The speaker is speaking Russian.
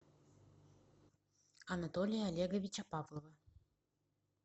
анатолия олеговича павлова